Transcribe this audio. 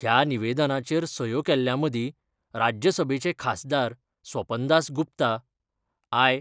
ह्या निवेदनाचेर सयो केल्ल्यामदी राज्य सभेचे खासदार स्वपन दास गुप्ता, आय.